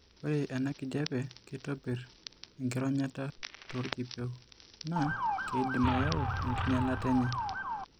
Ore enakijiape keitobir enkironyata toorkipieu naa keidim ayau enkinyialata enye.